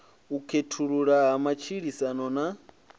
u khethululwa ha matshilisano na